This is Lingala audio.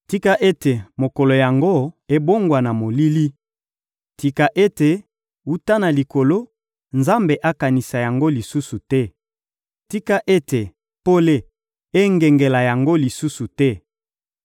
Tika ete mokolo yango ebongwana molili! Tika ete, wuta na likolo, Nzambe akanisa yango lisusu te! Tika ete pole engengela yango lisusu te!